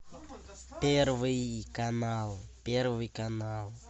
первый канал первый канал